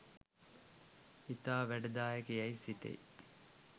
ඉතා වැඩදායක යැයි සිතෙයි.